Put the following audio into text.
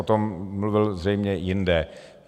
O tom mluvil zřejmě jinde.